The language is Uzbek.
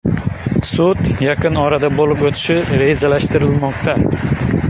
Sud yaqin orada bo‘lib o‘tishi rejalashtirilmoqda.